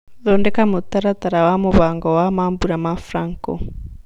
thondeka mũtaratara wa mũbango wa mambũra ma Franco